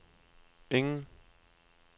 ingen